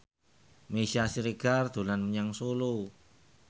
Meisya Siregar dolan menyang Solo